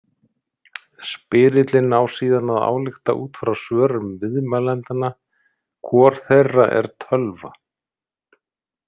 Spyrillinn á síðan að álykta út frá svörum viðmælendanna hvor þeirra er tölva.